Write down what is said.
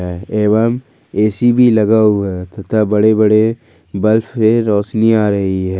एवं ए_सी भी लगा हुआ है तथा बड़े बड़े बर्फ से रोशनी आ रही है।